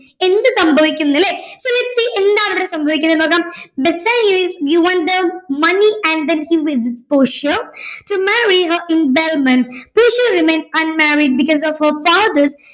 എന്ത് സംഭവിക്കുമെന്നല്ലേ so lets see എന്താണ് ഇവിടെ സംഭവിക്കുന്നതെന്ന് നോക്കാം Bassanio is given them money and then he leave to portia to marry her in belmond portia remains unmarried because of her fathers